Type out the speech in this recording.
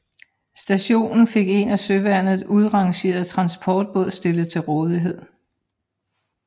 Stationen fik en af søværnet udrangeret transportbåd stillet til rådighed